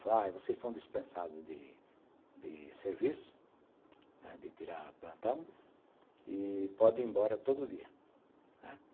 Falei, vocês estão dispensados de de serviço, de tirar plantão e podem ir embora todo dia, né.